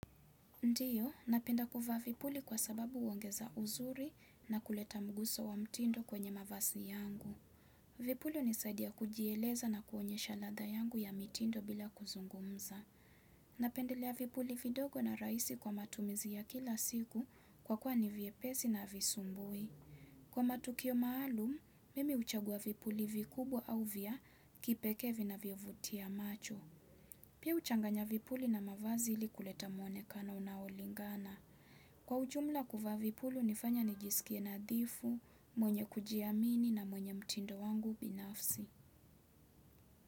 Ndio, napenda kuvaa vipuli kwa sababu inaongeza uzuri na kuleta miguso ya mtindo kwenye mavazi yangu. Vipuli hunisadia kujieleza na kuonyesha latha yangu ya mtindo bila kuzungumza. Napendelea vipuli vidogo na rahisi kwa matumizi ya kila siku kwa kuwa ni vyepesi na havisumbui. Kwa matukio maalum mimi huchagua vipuli vikubwa au vya kipeke vinavyo vutia macho. Pia huchanganya vipuli na mavazi ili kuleta mwonekano unaolingana. Kwa ujumla kuvaa vipulu hunifanya nijisikie nadhifu, mwenye kujiamini na mwenye mtindo wangu binafsi.